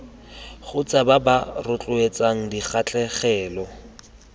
kgotsa ba ba rotloetsang dikgatlhegelo